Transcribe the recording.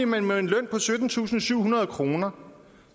man med en løn på syttentusinde og syvhundrede kroner